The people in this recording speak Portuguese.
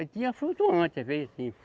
E tinha flutuante, às vezes, assim